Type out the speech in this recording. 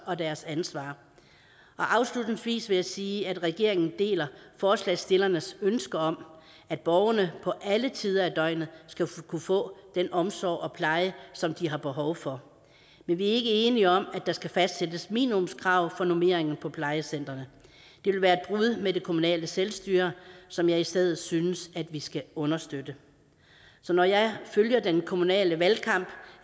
og deres ansvar og afslutningsvis vil jeg sige at regeringen deler forslagsstillernes ønsker om at borgerne på alle tider af døgnet skal kunne få den omsorg og pleje som de har behov for men vi er ikke enige om at der skal fastsættes minimumskrav for normeringer på plejecentrene det vil være et brud med det kommunale selvstyre som jeg i stedet synes vi skal understøtte så når jeg følger den kommunale valgkamp